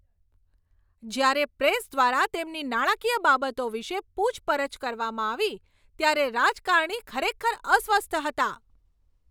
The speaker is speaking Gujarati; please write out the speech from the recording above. જ્યારે પ્રેસ દ્વારા તેમની નાણાકીય બાબતો વિશે પૂછપરછ કરવામાં આવી ત્યારે રાજકારણી ખરેખર અસ્વસ્થ હતા.